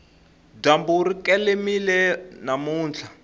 dyambu ri kelemile namuntlha